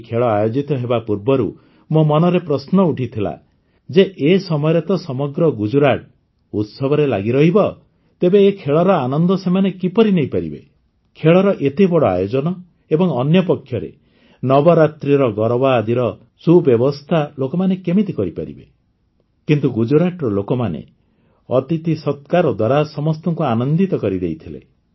ଏହି ଖେଳ ଆୟୋଜିତ ହେବା ପୂର୍ବରୁ ମୋ ମନରେ ପ୍ରଶ୍ନ ଉଠିଥିଲା ଯେ ଏ ସମୟରେ ତ ସମଗ୍ର ଗୁଜୁରାଟ ଉତ୍ସବରେ ଲାଗିରହିବ ତେବେ ଏ ଖେଳର ଆନନ୍ଦ ସେମାନେ କିପରି ନେଇପାରିବେ ଖେଳର ଏତେ ବଡ଼ ଆୟୋଜନ ଏବଂ ଅନ୍ୟପକ୍ଷରେ ନବରାତ୍ରିର ଗରବା ଆଦିର ସୁବ୍ୟବସ୍ଥା ଲୋକମାନେ କେମିତି କରିପାରିବେ କିନ୍ତୁ ଗୁଜୁରାଟର ଲୋକମାନେ ଅତିଥିସତ୍କାର ଦ୍ୱାରା ସମସ୍ତଙ୍କୁ ଆନନ୍ଦିତ କରିଦେଇଥିଲେ